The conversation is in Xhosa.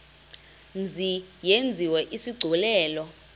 mzi yenziwe isigculelo